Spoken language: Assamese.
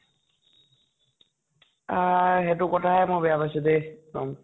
আ সিইটো কথাহে মই বেয়া পাইছো দে।